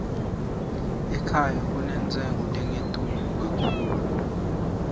ekhaya kunentshengo lenkitulu katchulu